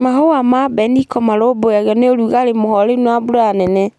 Mahũa ma mbeniko marũmbũiagio ni ũrũgarũ mũhoreru na mbura nene.